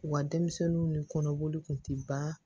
U ka denmisɛnninw ni kɔnɔboli kun tɛ ban